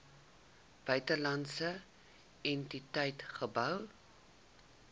buitelandse entiteit gehou